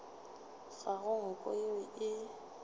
ga go nko yeo e